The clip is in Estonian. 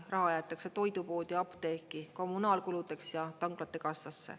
Raha jäetakse toidupoodi, apteeki, kommunaalkuludeks ja tanklate kassasse.